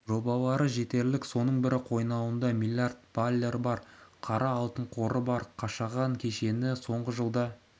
жобалары жетерлік соның бірі қойнауында млрд баррель қара алтын қоры бар қашаған кеніші соңғы жылда